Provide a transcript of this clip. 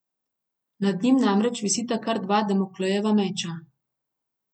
Nad njim namreč visita kar dva Damoklejeva meča.